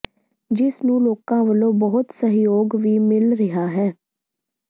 ਜਿਸ ਨੂੰ ਲੋਕਾਂ ਵੱਲੋਂ ਬਹੁਤ ਸਹਿਯੋਗ ਵੀ ਮਿਲ ਰਿਹਾ ਹੈ